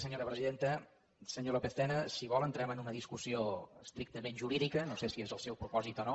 senyor lópez tena si vol entrem en una discussió estrictament jurídica no sé si és el seu propòsit o no